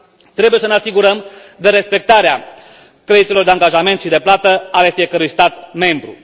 Trebuie să ne asigurăm de respectarea creditelor de angajament și de plată ale fiecărui stat membru.